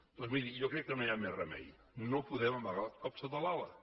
doncs miri jo crec que no hi ha més remei no podem amagar el cap sota l’ala